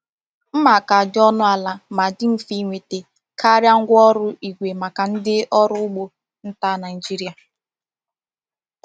Mma ka dị ọnụ ala ma dị mfe ịnweta karịa ngwa ọrụ igwe maka ndị ọrụ ugbo nta Naijiria.